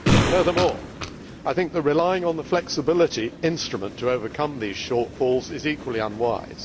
Furthermore, I think that relying on the flexibility instrument to overcome these shortfalls is equally unwise.